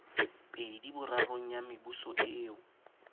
pedi borarong ya mebuso eo